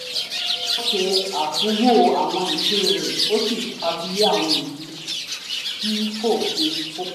ó ṣe àtúnwò àwọn ìpín rẹ ó sì fagilé àwọn èyí tí kò ṣe kókó